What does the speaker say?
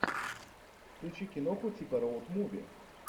включи киноху типа роуд муви